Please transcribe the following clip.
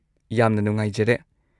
ꯌꯥꯝꯅ ꯅꯨꯡꯉꯥꯏꯖꯔꯦ꯫